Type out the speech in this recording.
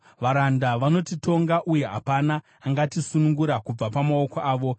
Varanda vanotitonga, uye hapana angatisunungura kubva pamaoko avo.